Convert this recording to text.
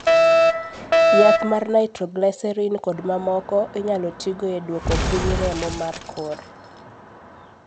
yath mar Nitroglycerin kod mamoko inyalo tigo e duoko piny remo mar kor